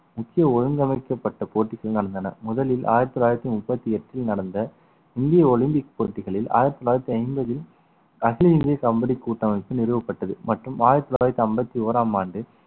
முக்கிய ஒழுங்கமைக்கப்பட்ட போட்டிகள் நடந்தன முதலில் ஆயிரத்தி தொள்ளாயிரத்தி முப்பத்தி எட்டில் நடந்த இந்திய ஒலிம்பிக் போட்டிகளில் ஆயிரத்து தொள்ளாயிரத்து ஐம்பதில் கட்டுவீரிய கபடி கூட்டமைப்பு நிறுவப்பட்டது மற்றும் ஆயிரத்து தொள்ளாயிரத்து ஐம்பத்தி ஒராம் ஆண்டு